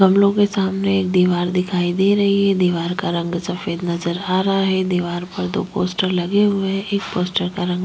गमलो के सामने एक दिवार दिखाई दे रही है दिवार का रंग सफ़ेद नज़र आ रहा है दिवार पर दो पोस्टर लगे हुए है एक पोस्टर का रंग--